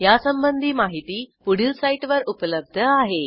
यासंबंधी माहिती पुढील साईटवर उपलब्ध आहे